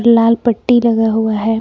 लाल पट्टी लगा हुआ है।